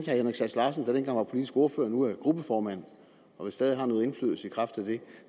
henrik sass larsen der dengang var politisk ordfører og nu er gruppeformand og vel stadig har noget indflydelse i kraft af det